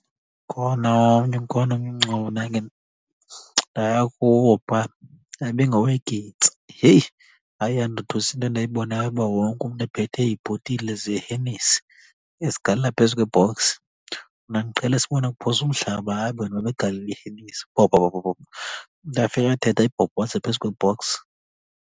Ukhona omnye, ukhona omnye umngcwabo endake ndaya kuwo phaa yabe ingowegintsa. Heyi, hayi yandothusa into endayibonayo uba wonke umntu ephethe iibhotile zeHenessy ezigalela phezu kwe-box. Mna ndiqhele sibona kuphoswa umhlaba, hayi bona babegalela iHenessy, bhobho bhobho bhobho. Umntu afike athethe ayibhobhoze phezu kwe-box.